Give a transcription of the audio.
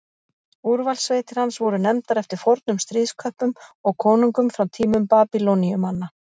Úrvalssveitir hans voru nefndar eftir fornum stríðsköppum og konungum frá tímum Babýloníumanna.